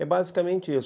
É basicamente isso.